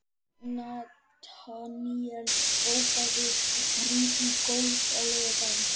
Nataníel, bókaðu hring í golf á laugardaginn.